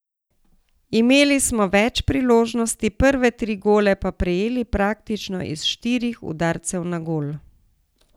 Imeli smo več priložnosti, prve tri gole pa prejeli praktično iz štirih udarcev na gol.